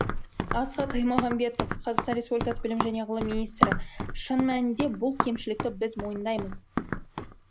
асхат аймағамбетов қр білім және ғылым министрі шын мәнінде бұл кемшілікті біз мойындаймыз